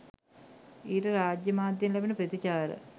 ඊට රාජ්‍ය මාධ්‍යයෙන් ලැබෙන ප්‍රචාරය